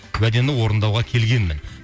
уәдемді орындауға келгенмін